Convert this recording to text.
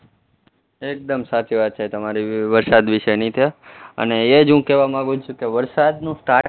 એકદમ સાચી વાત છે તમારી વરસાદ વિશેની કે અને એ જ હું કહેવા માંગુ છું કે વરસાદનું